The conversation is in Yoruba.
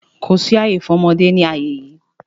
Kò sí àyè fún ọmọdé ní àyè yí!